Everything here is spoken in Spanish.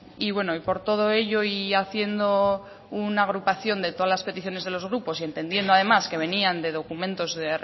y bueno y por todo ello y haciendo una agrupación de todas las peticiones de los grupos y entendiendo además que venían de documentos que